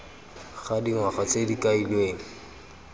ga dingwaga tse di kailweng